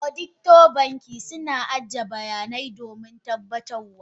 Auditor banki suna ajiye bayanai domin tabbatar wa.